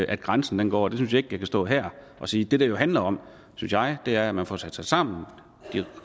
at grænsen går synes jeg ikke jeg kan stå her og sige det det jo handler om synes jeg er at man får sat sig sammen de